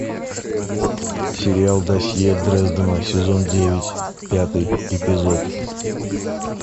сериал досье дрездена сезон девять пятый эпизод